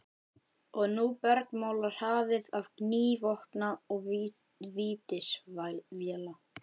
Og nú bergmálar hafið af gný vopna og vítisvéla.